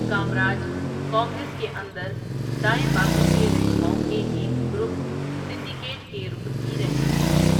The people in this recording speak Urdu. کامراج کانگریس کے اندر دائیں بازو کے رہنماؤں کے ایک گروپ 'سنڈیکیٹ' کے رکن بھی رہ چکے تھے۔